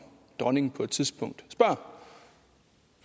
dronningen på et tidspunkt spørger